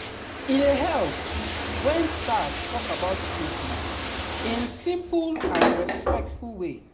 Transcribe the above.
e dey help when staff talk about treatment in simple and respectful way